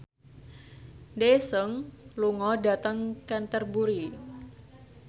Daesung lunga dhateng Canterbury